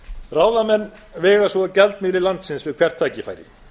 ráðamenn vega svo að gjaldmiðli landsins við hvert tækifæri